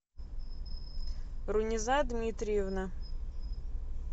руниза дмитриевна